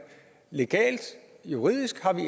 legalt juridisk